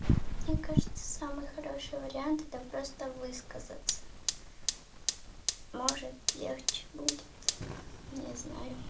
мне кажется самый хороший вариант это просто высказаться может легче будет не знаю